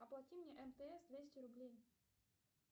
оплати мне мтс двести рублей